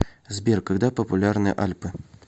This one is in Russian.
сбер когда популярны альпы